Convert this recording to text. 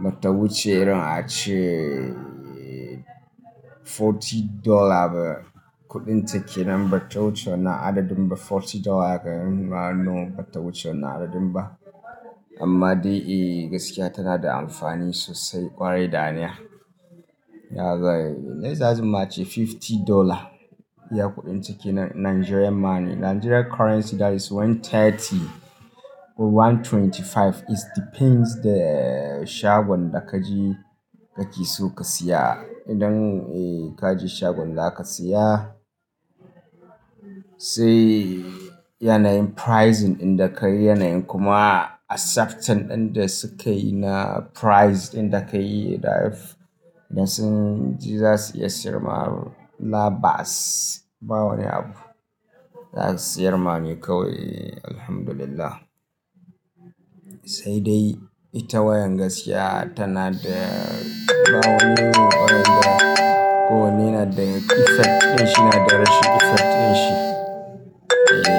Bata wuce irin ace forty dollar ba. Kuɗin take nan bata wuce wannan adadin ba. Forty dollar haka in ma wannan bata wuce wannan adadin ba. Amma dai eh gaskiya tana da amfani sosai ƙwarai daniya. Yaga, na zaza ma ce fifty dollar. Iya kuɗin take nan Nigeria ma ne. Nigeria currency that is one thirty or one twenty five. It depends the shagon da kaji kake so ka siya. Idan eh kaji shagon za ka siya, sai yanayin pricing inda ka yi, yanayin kuma accepting ɗin da sukayi na priced inda ka yi. If idan sun ji za su iya siyar ma labas, ba wani abu. Za su siyar ma ne kawai Alhamdulillah. Sai dai ita wayan gaskiya tana da ba wani irin orange ba ko wane yana da effect ɗin shi na da rashin effect ɗin shi. Eh.